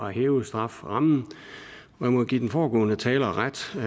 hæve strafferammen og jeg må give den foregående taler ret for